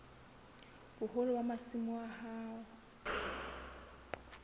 boholo ba masimo a hao